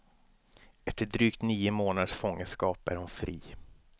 Efter drygt nio månaders fångenskap är hon fri.